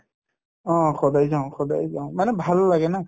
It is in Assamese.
অ, সদায় যাওঁ সদায় যাওঁ মানে ভাল লাগে ন